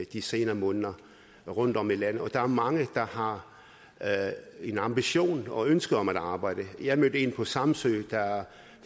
de senere måneder rundtom i landet og der er mange der har en ambition og et ønske om at arbejde jeg mødte en på samsø der